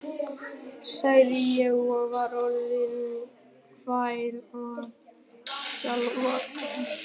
sagði ég, og var orðinn hávær og skjálfraddaður.